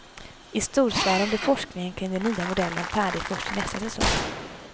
I storslalom blir forskningen kring den nya modellen färdig först till nästa säsong.